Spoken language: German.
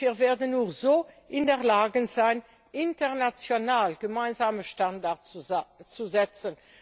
Wir werden nur so in der Lage sein, international gemeinsame Standards zu setzen.